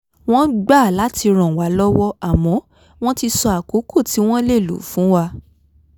wọ́n gbà láti ràn wá lọ́wọ́ àmọ́ wọ́n ti sọ àkókò tí wọ́n lè lò fún wa